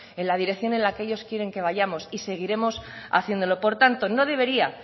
en la dirección en la que ellos quieren que vayamos y seguiremos haciéndolo por tanto no debería